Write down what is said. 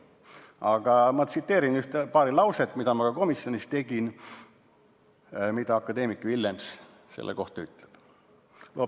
Aga ma tsiteerin paari lauset, mida ma ka komisjonis tegin, mis akadeemik Villems selle kohta ütles.